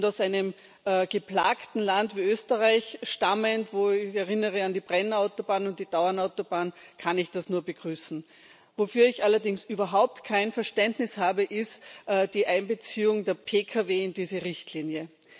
Aus einem geplagten Land wie Österreich stammend ich erinnere an die Brenner und die Tauern Autobahn kann ich das nur begrüßen. Wofür ich allerdings überhaupt kein Verständnis habe, ist die Einbeziehung der Pkw in diese Richtlinie.